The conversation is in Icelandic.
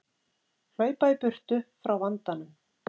Hlaupa í burtu frá vandanum.